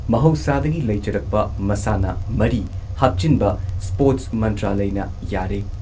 ꯃꯍꯧꯁꯥꯗꯒꯤ ꯂꯩꯖꯔꯛꯄ ꯃꯁꯥꯟꯅ ꯃꯔꯤ ꯍꯥꯞꯆꯤꯟꯕ ꯁ꯭ꯄꯣꯔꯠꯁ ꯃꯥꯟꯇ꯭ꯔꯥꯂꯢꯅ ꯌꯥꯔꯦ꯫